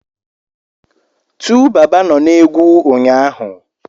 TuBaba nọ na egwu ụnyaahụ.